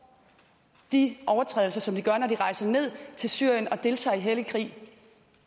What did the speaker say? de overtrædelser som de gør når de rejser ned til syrien og deltager i hellig krig